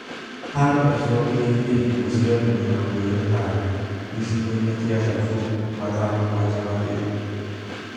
Haro icũngĩrĩirie ikuũ cia andũ mĩrongo ĩrĩ na ana, gĩcigo-inĩ kia Daefur mathaa mũgwanja mathiru